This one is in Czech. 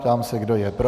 Ptám se, kdo je pro.